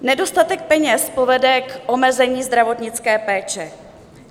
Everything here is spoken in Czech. Nedostatek peněz povede k omezení zdravotnické péče.